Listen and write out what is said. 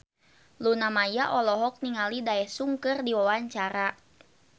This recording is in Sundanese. Luna Maya olohok ningali Daesung keur diwawancara